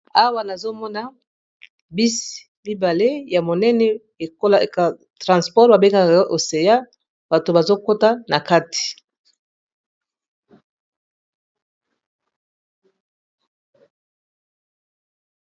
awa nazomona bisi mibale ya monene ekoatransport babekaka oseya bato bazokota na kati